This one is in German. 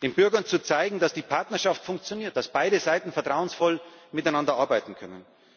den Bürgern zu zeigen, dass die Partnerschaft funktioniert, dass beide Seiten vertrauensvoll miteinander arbeiten können.